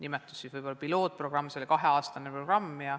Praegu võiks seda nimetada pilootprogrammiks, see oli kaheaastane programm.